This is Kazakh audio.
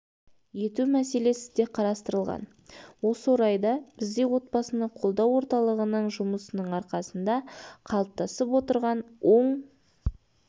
ету мәселесі де қарастырылған осы орайда бізде отбасыны қолдау орталығының жұмысының арқасында қалыптасып отырған оң